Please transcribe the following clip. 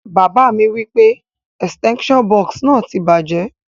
Bàbá mi wipe extension box náà ti bàjẹ́